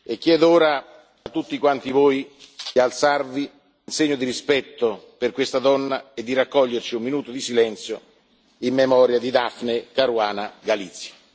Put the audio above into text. Chiedo ora a tutti voi di alzarvi in segno di rispetto per questa donna e di raccoglierci in un minuto di silenzio in memoria di Daphne Caruana Galizia.